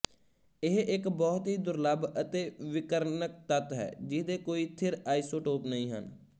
ਇਹ ਇੱਕ ਬਹੁਤ ਹੀ ਦੁਰਲੱਭ ਅਤੇ ਵਿਕਿਰਨਕ ਤੱਤ ਹੈ ਜਿਹਦੇ ਕੋਈ ਥਿਰ ਆਈਸੋਟੋਪ ਨਹੀਂ ਹਨ